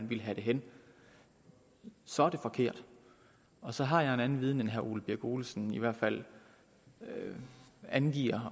vil have det hen så er det forkert og så har jeg en anden viden end herre ole birk olesen i hvert fald angiver